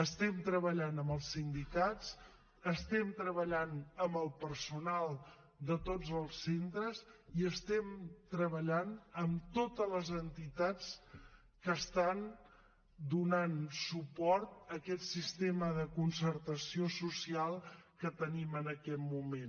estem treballant amb els sindicats estem treballant amb el personal de tots els centres i estem treballant amb totes les entitats que estan donant suport a aquest sistema de concertació social que tenim en aquest moment